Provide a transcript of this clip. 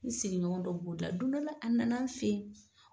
N sigiɲɔgɔn dɔ b'u la don dɔ la a nana n fɛ yen.